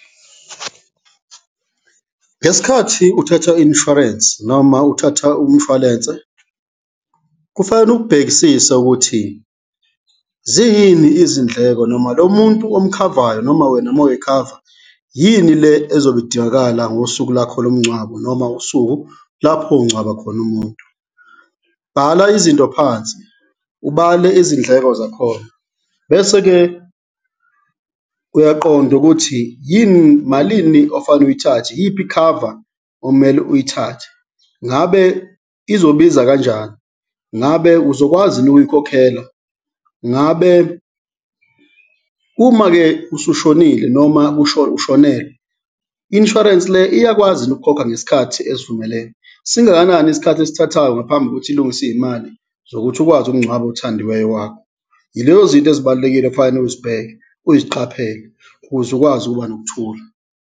Ngesikhathi uthatha i-insurance noma uthatha umshwalense, kufanele ukubhekisise ukuthi ziyini izindleko noma lo muntu omkhavayo noma wena ma uy'khava, yini le ezobe idingakala ngosuku lakho lomngcwabo noma usuku lapho ungcwaba khona umuntu? Bhala izinto phansi, ubale izindleko zakhona bese-ke uyaqonda ukuthi malini ofanele uyithathe? Yiphi i-cover omele uyithathe? Ngabe izobiza kanjani? Ngabe uzokwazi yini ukuyikhokhela? Ngabe uma-ke usushonile noma ushonelwe, i-insurance le iyakwazi yini ukukhokha ngesikhathi esivumelene? Singakanani isikhathi esithathayo ngaphambi kokuthi ilungise iy'mali zokuthi ukwazi ukungcwaba othandiweyo wakho? Yilezo zinto ezibalulekile ekufanele uzibheke uziqaphele ukuze ukwazi ukuba nokuthula.